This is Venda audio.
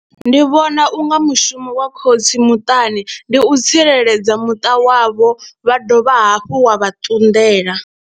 Ndi vhona u nga mushumo wa khotsi muṱani ndi u tsireledza muṱa wavho, wa dovha hafhu wa vha ṱunḓela.